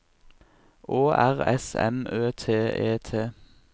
Å R S M Ø T E T